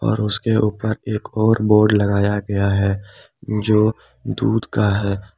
और उसके ऊपर एक और बोर्ड लगाया गया है जो दूध का है।